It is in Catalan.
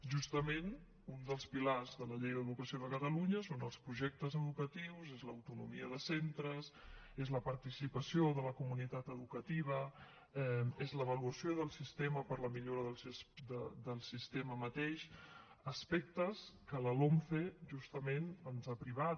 justament un dels pilars de la llei d’educació de catalunya són els projectes educatius és l’autonomia de centres és la participació de la comunitat educativa és l’avaluació del sistema per a la millora del sistema mateix aspectes que la lomce justament ens ha privat